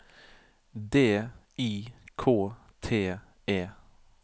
D I K T E